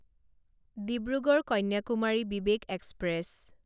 Dibrugarh Kanyakumari Vivek express